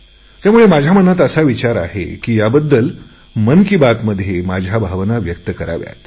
त्यामुळे मनात असा विचार आहे की याविषयी मन की बातमध्ये माझ्या भावना व्यक्त कराव्यात